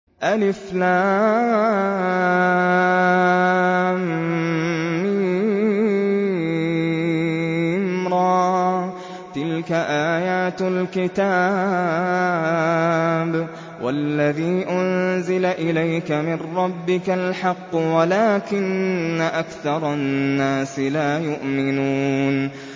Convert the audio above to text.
المر ۚ تِلْكَ آيَاتُ الْكِتَابِ ۗ وَالَّذِي أُنزِلَ إِلَيْكَ مِن رَّبِّكَ الْحَقُّ وَلَٰكِنَّ أَكْثَرَ النَّاسِ لَا يُؤْمِنُونَ